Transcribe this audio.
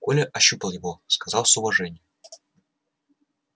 коля ощупал его сказал с уважением